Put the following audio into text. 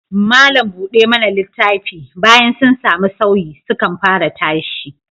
Malam buɗe mana littafi, bayan sun sami sauyi, sukan fara tashi